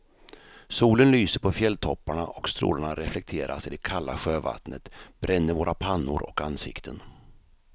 Solen lyser på fjälltopparna och strålarna reflekteras i det kalla sjövattnet, bränner våra pannor och ansikten.